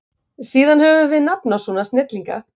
Síðan höfum við nafn á svona snillinga.